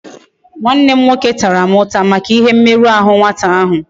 Nwannem nwoke Tara m uta Maka ihe mmeru ahu nwata ahu